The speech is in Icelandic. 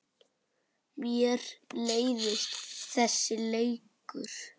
Mér leiðist þessi leikur.